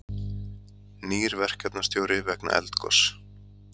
Nýr verkefnastjóri vegna eldgoss